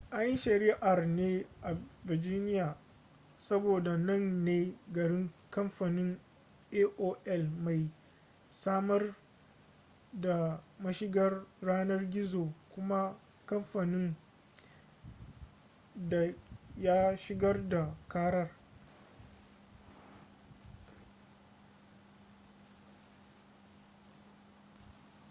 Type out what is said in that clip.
an yi shari'ar ne a virginia saboda nan ne garin kamfanin aol mai samar da mashigar yanar gizo kuma kamfanin da ya shigar da karar